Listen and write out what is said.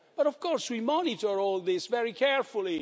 But of course we monitor all this very carefully.